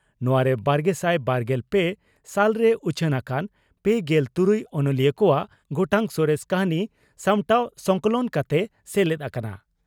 ᱱᱚᱣᱟᱨᱮ ᱵᱟᱨᱜᱮᱥᱟᱭ ᱵᱟᱨᱜᱮᱞ ᱯᱮ ᱥᱟᱞᱨᱮ ᱩᱪᱷᱟᱹᱱ ᱟᱠᱟᱱ ᱯᱮᱜᱮᱞ ᱛᱩᱨᱩᱭ ᱚᱱᱚᱞᱤᱭᱟᱹ ᱠᱚᱣᱟᱜ ᱜᱚᱴᱟᱝ ᱥᱚᱨᱮᱥ ᱠᱟᱹᱦᱱᱤ ᱥᱟᱢᱴᱟᱣ (ᱥᱚᱝᱠᱚᱞᱚᱱ) ᱠᱟᱛᱮ ᱥᱮᱞᱮᱫ ᱟᱠᱟᱱᱟ ᱾